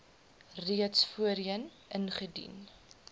reeds voorheen ingedien